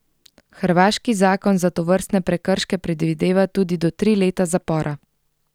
Hrvaški zakon za tovrstne prekrške predvideva tudi do tri leta zapora.